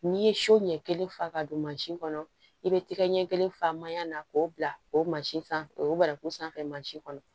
N'i ye so ɲɛ kelen fa ka don mansin kɔnɔ i bɛ tɛgɛ ɲɛ kelen fa manyan na k'o bila o sanfɛ o baraku sanfɛ mansi kɔnɔ